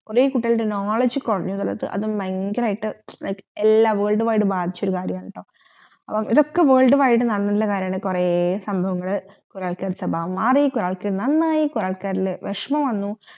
കൊറേ കുട്ടികളുടെ knowledge കൊറഞ്ഞ എന്നുള്ളത് അതും ഭയങ്കരയിട് world wide ബാധോച്ചൊരു കാര്യമാണട്ടോ അപ്പൊ ഇതൊക്കെ world wide നടന്നിരുന്ന കാര്യമാണെട്ടോ കൊറേ സഭാവങ്ങൾ കൊറേ ആൾകാർ നാണായി കൊറേ ആൾക്കാരിൽ വെഷമം വന്നു